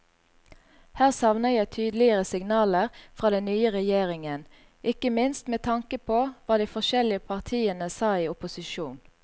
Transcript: Her savner jeg tydeligere signaler fra den nye regjeringen, ikke minst med tanke på hva de forskjellige partiene sa i opposisjon.